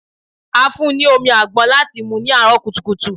A fún n ní omi àgbọn láti mú ní àárọ̀ kùtùkùtù.